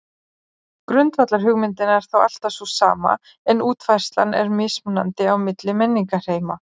Grundvallarhugmyndin er þá alltaf sú sama en útfærslan er mismunandi á milli menningarheima.